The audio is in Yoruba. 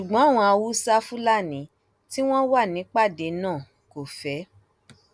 ṣùgbọn àwọn haúsáfúlálí tí wọn wà nípàdé náà kò fẹ